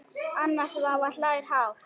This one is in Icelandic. Anna Svava hlær hátt.